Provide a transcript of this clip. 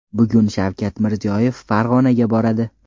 Bugun Shavkat Mirziyoyev Farg‘onaga boradi.